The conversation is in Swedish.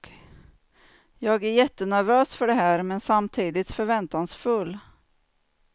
Jag är jättenervös för det här, men samtidigt förväntansfull.